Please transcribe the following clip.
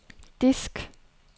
disk